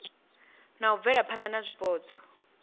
na u bvelaphana na zwipotso